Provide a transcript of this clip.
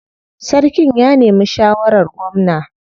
Sarkin ya nemi shawarar gwamna.